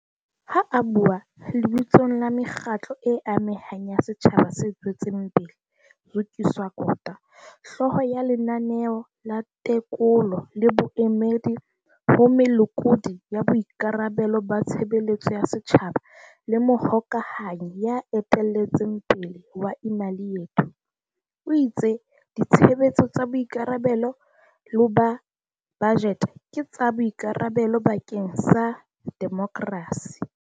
Ha a bua lebitsong la mekgatlo e amehang ya setjhaba se tswetseng pele, Zukiswa Kota, hlooho ya Lenaneo la Tekolo le Boemedi ho Molekodi wa Boikarabelo ba Tshebeletso ya Setjhaba le mohokahanyi ya eteletseng pele wa Imali Yethu, o itse ditshebetso tsa boikarabe lo ba bajete ke tsa boikarabelo bakeng sa demokrasi.